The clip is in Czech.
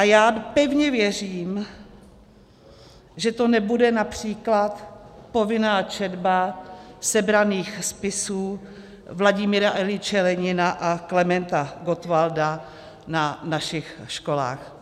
A já pevně věřím, že to nebude například povinná četba sebraných spisů Vladimíra Iljiče Lenina a Klementa Gottwalda na našich školách.